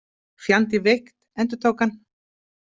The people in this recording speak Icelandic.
Fjandi veikt, endurtók hann.